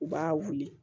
U b'a wuli